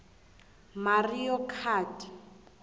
mario kart